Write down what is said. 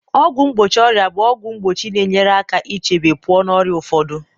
ọgwụ mgbochi ọrịa bụ ọgwụ mgbochi na-enyere aka ichebe pụọ n'ọrịa ụfọdụ